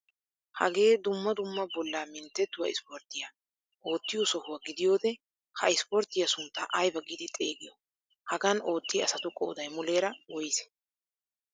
Hagee dumma dumma bollaa minttettuwaa ispporttiyaa oottiyo sohuwaa gidiyoode ha ispporttiyaa sunttaa aybaa giidi xeegiyoo? Hagan oottiyaa asatu qooday muleera woysee?